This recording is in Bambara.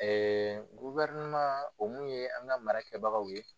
Ɛɛ gofɛrɛnaman o min ye an ka mara kɛbagaw ye